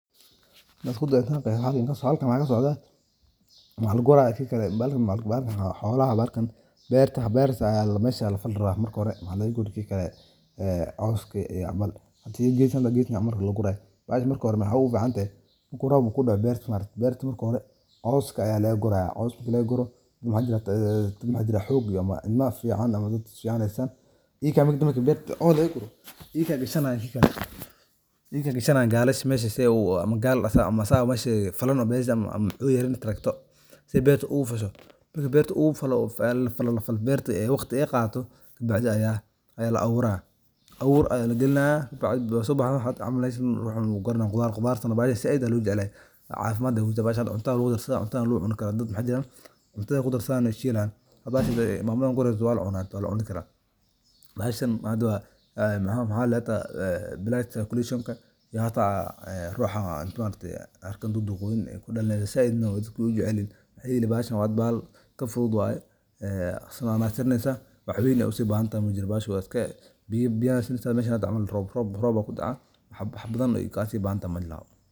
Waa midho aad u macaan oo ka mid ah khudaarta la isku dhaqo ee lagu cuno qaaradda Afrika, Aasiya, iyo deegaanada tropika ah, waxaana lagu isticmaalaa cuntooyin kala duwan sida maraq, rooti, saliid, iyo malabho, waxayna leedahay macdan badan oo faa'iido u leh caafimaadka, waxaana lagu beeraa meelaha biyaha badan ee dhirtaasu ku fidato si fiican, dadka qaar waxay u maleynayaan inay tahay cunto dhaqameed oo ay ku kalsoon yihiin qoysaska reer miyiga gaar ayaa waxaa laga yaabaa in ay ku cunaan maalin kasta maxaa yeelay waxay qabataa cunto aad u wanaagsan oo ay ku xalliyaan habab kala duwan.